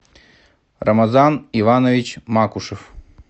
рамазан иванович макушев